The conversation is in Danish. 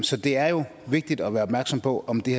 så det er jo vigtigt at være opmærksom på om det